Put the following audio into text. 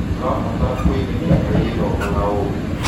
Tũrabatara kũigithia harĩ gĩthomo na ũũgĩ.